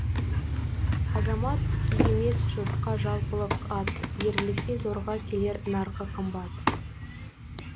азамат емес жұртқа жалпылық ат ерлікке зорға келер нарқы қымбат